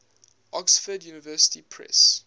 oxford university press